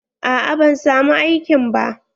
A'a ban samu aikin ba.